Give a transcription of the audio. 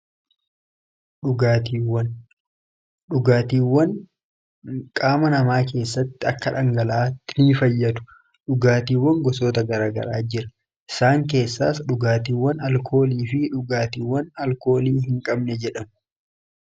Dhugaatiiwwan qaama namaa keessatti akka dhangala'aatti ni fayyadu. Dhugaatiiwwan gosoota garaa garaa jira. Isaan keessaas dhugaatiiwwan aalkoolii fi dhugaatiiwwan alkoolii hin qabne jedhamu.